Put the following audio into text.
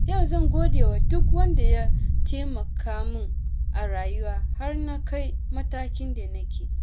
Yau zan gode wa duk wanda ya taimaka min a rayuwa har na kai matakin da nake.